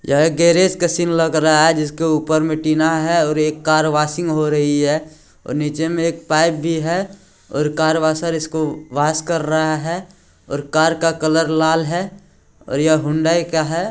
यह एक गैरेज का सीन लग रहा है जिसके ऊपर मे टीना है और एक कार वाशिंग हो रही है और नीचे मे एक पाइप भी है और कार वासर इसको वास कर रहा है और कार का कलर लाल है और ये होनडाई का है।